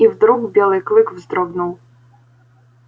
и вдруг белый клык вздрогнул